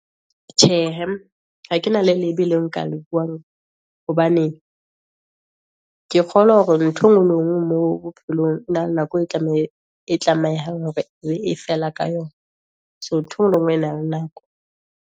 Tjhe hee, ha kena le lebe le nka le buang, hobane ke kgolwa hore nthwe ngwe le engwe mo bophelong, e na le nako e tlamehang hore e fela ka yona. So nthwe ngwe le engwe na le nako.